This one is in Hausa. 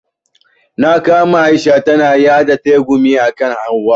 Na kama Aisha tana yaɗa tsegumi akan hauwa.